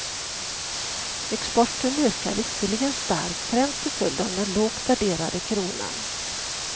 Exporten ökar visserligen starkt, främst till följd av den lågt värderade kronan.